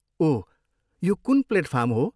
ओह, यो कुन प्लेटफार्म हो?